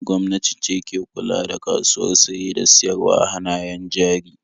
Gwamnati ce ke kula da kasuwar saye da siyarwar hannayen jari.